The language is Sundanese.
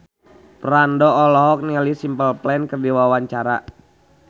Franda olohok ningali Simple Plan keur diwawancara